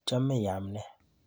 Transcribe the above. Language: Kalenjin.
Ichome iame nee?